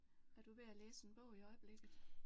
Er du ved at læse en bog i øjeblikket?